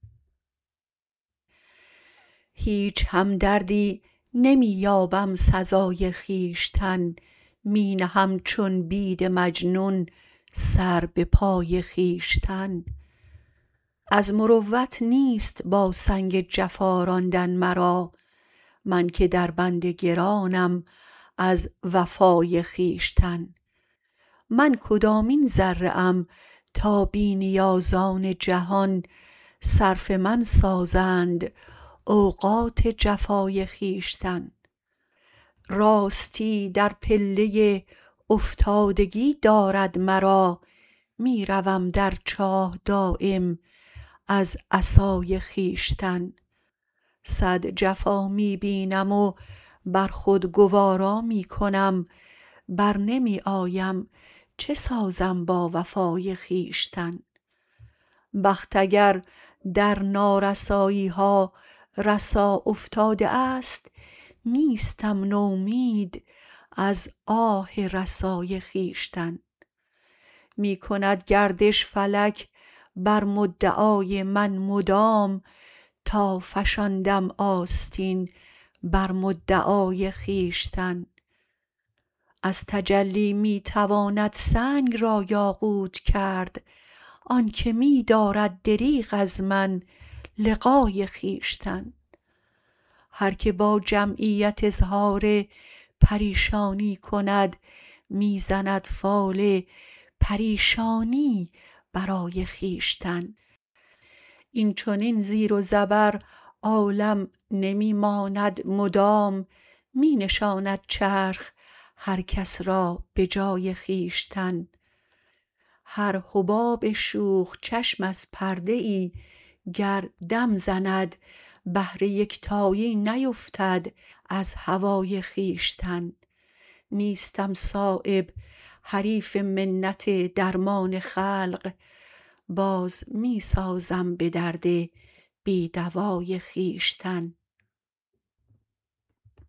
هیچ همدردی نمی یابم سزای خویشتن می نهم چون بید مجنون سر به پای خویشتن از مروت نیست با سنگ جفا راندن مرا من که در بند گرانم از وفای خویشتن من کدامین ذره ام تا بی نیازان جهان صرف من سازند اوقات جفای خویشتن راستی در پله افتادگی دارد مرا می روم در چاه دایم از عصای خویشتن صد جفا می بینم و بر خود گوارا می کنم برنمی آیم چه سازم با وفای خویشتن بخت اگر در نارسایی ها رسا افتاده است نیستم نومید از آه رسای خویشتن می کند گردش فلک بر مدعای من مدام تا فشاندم آستین بر مدعای خویشتن از تجلی می تواند سنگ را یاقوت کرد آن که می دارد دریغ از من لقای خویشتن هر که با جمعیت اظهار پریشانی کند می زند فال پریشانی برای خویشتن این چنین زیر و زبر عالم نمی ماند مدام می نشاند چرخ هر کس را به جای خویشتن هر حباب شوخ چشم از پرده ای گردم زند بحر یکتایی نیفتد از هوای خویشتن نیستم صایب حریف منت درمان خلق باز می سازم به درد بی دوای خویشتن